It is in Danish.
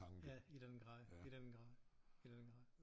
Ja i den grad i den grad i den grad